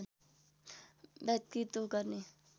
व्यतित गर्ने